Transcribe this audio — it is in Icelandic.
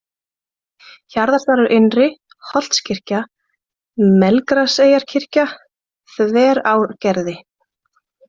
Hjarðardalur-Innri, Holtskirkja, Melgraseyrarkirkja, Þverárgerði